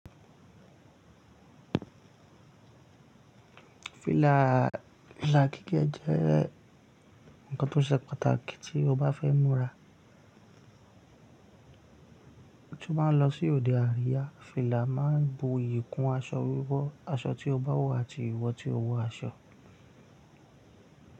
Fìlà gigé jẹ́ nǹkan tó ṣe pàtàkì tí mo bá fẹ́ múra. Tí o bá ń lọ sí òde àríyá, fìlà máa ń bu iyì kún aṣọ wíwọ̀, aṣọ tí o bá wọ̀ àti ìwọ tí o wọ aṣọ.